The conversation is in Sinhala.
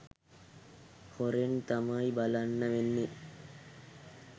හොරෙන් තමයි බලන්න වෙන්නේ